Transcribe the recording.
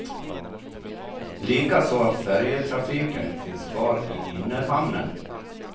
Likaså att färjetrafiken finns kvar i innerhamnen.